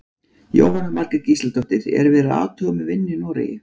Jóhanna Margrét Gísladóttir: Er verið að athuga með vinnu í Noregi?